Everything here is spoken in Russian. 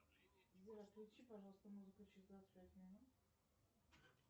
сбер отключи пожалуйста музыку через двадцать пять минут